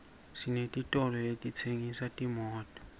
senetitolo letitsengisa timoto